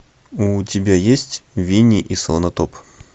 у тебя есть винни и слонотоп